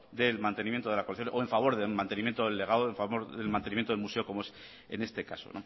del mantenimiento de la colección o en favor del mantenimiento del legado o en favor del mantenimiento del mantenimiento del museo como es en este caso